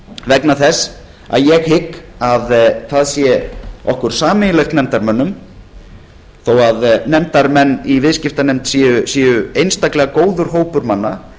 vegna þess að ég hygg að það sé okkur sameiginlegt nefndarmönnum þó að nefndarmenn í viðskiptanefnd séu einstaklega góður hópur manna